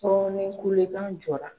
ni kulekan jɔra.